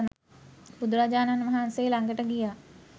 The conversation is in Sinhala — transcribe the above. බුදුරජාණන් වහන්සේ ලඟට ගියා